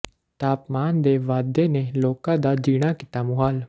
ਤਾਪਮਾਨ ਦੇ ਵਾਧੇ ਨੇ ਲੋਕਾਂ ਦਾ ਜੀਣਾ ਕੀਤਾ ਮੁਹਾਲ